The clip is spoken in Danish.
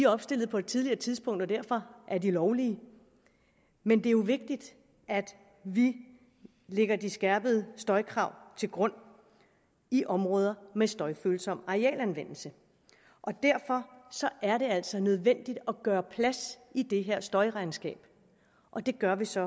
opstillet på et tidligere tidspunkt og derfor er de lovlige men det er jo vigtigt at vi lægger de skærpede støjkrav til grund i områder med støjfølsom arealanvendelse og derfor er det altså nødvendigt at gøre plads i det her støjregnskab og det gør vi så